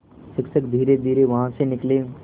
शिक्षक धीरेधीरे वहाँ से निकले